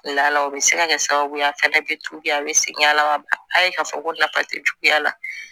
Lala o bɛ se ka kɛ sababu ye a fana bɛ juguya a bɛ segin a la a ye ka fɔ ko nafa tɛ juguya la